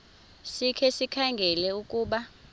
sikhe sikhangele ukuba